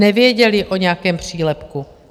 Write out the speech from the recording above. Nevěděli o nějakém přílepku.